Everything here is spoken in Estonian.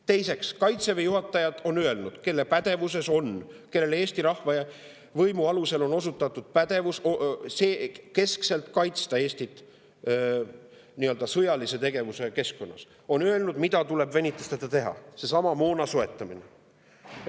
Teiseks, Kaitseväe juhatajad, kellele Eesti rahvas oma võimu alusel on andnud pädevuse keskselt kaitsta Eestit nii-öelda sõjalise tegevuse keskkonnas, on öelnud, mida tuleb venitusteta teha: seesama moona soetamine.